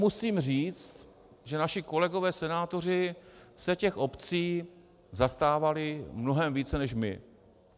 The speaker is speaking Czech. Musím říct, že naši kolegové senátoři se těch obcí zastávali mnohem více než my.